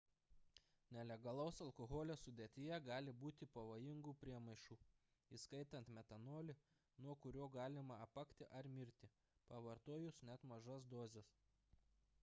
nelegalaus alkoholio sudėtyje gali būti pavojingų priemaišų įskaitant metanolį nuo kurio galima apakti ar mirti pavartojus net mažas dozes